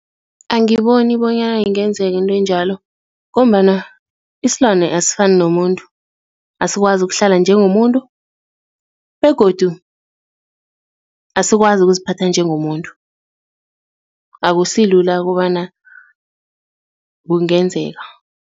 Angiboni bonyana ingenzeka into enjalo ngombana isilwane asifani nomuntu, asikwazi ukuhlala njengomuntu begodu asikwazi ukuziphatha njengomuntu, akusilula kobana kungenzeka.